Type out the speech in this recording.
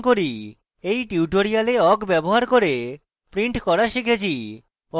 এই টিউটোরিয়ালে awk ব্যবহার করে প্রিন্ট করা শিখেছি